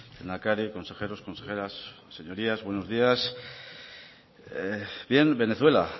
lehendakari consejeros consejeras señorías buenos días bien venezuela